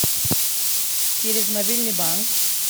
через мобильный банк